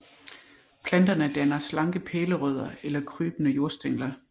Planterne danner slanke pælerødder eller krybende jordstængler